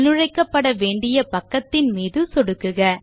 உள்நுழைக்கப்பட வேண்டிய பக்கத்தின் மீது சொடுக்குக